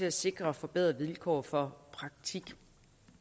at sikre forbedrede vilkår for praktik og